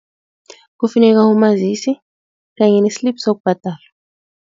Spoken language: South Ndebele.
Kufuneka umazisi kanye ne-slip sokubhadala.